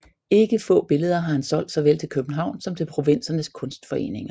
Ikke få billeder har han solgt såvel til Københavns som til provinsernes kunstforeninger